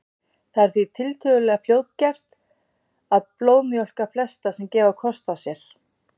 Það er því tiltölulega fljótgert að blóðmjólka flesta sem gefa kost á sér.